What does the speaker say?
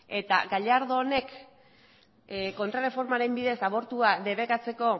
eta gallardonek kontraerreformaren bidez abortua debekatzeko